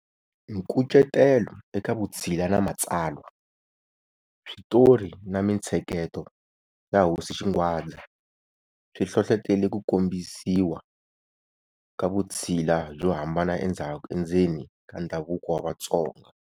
Nkucetelo eka Vutshila na Matsalwa-Switori na mintsheketo ya hosi Xingwadza swi hlohlotele ku kombisiwa ka vutshila byo hambana endzeni ka ndhavuko wa Vatsonga.